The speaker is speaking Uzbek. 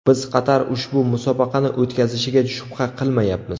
Biz Qatar ushbu musobaqani o‘tkazishiga shubha qilmayapmiz.